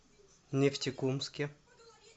нефтекумске